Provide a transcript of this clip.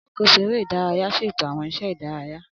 Alákóso eré ìdárayá ṣètò àwọn iṣẹ́ ìdárayá